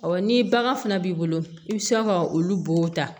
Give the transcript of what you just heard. ni bagan fana b'i bolo i bɛ sɔrɔ ka olu bo ta